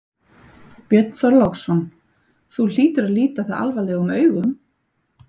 Björn Þorláksson: Þú hlýtur að líta það alvarlegum augum?